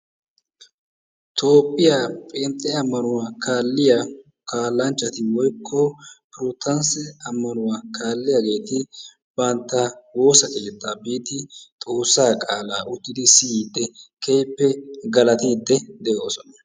Toophiyaa phenxxe ammnawuaa kaaliyaa kaallanchchati woykko protanse ammnauwa kaaliyaageeti bantta woossiyo keetta biidi xoossa qaala uttidi siyyide keehippe galatide doosona.